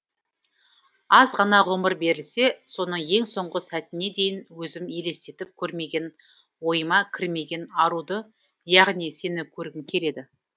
аз ғана ғұмыр берілсе соның ең соңғы сәтіне дейін өзім елестетіп көрмеген ойыма кірмеген аруды яғни сені көргім келеді